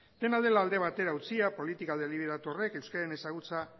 dena dela alde batera utzia politika deliberatu horrek euskararen ezagutza